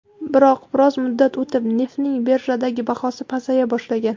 Biroq biroz muddat o‘tib neftning birjadagi bahosi pasaya boshlagan.